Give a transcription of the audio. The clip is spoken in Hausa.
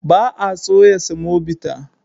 Ba a soya semobita.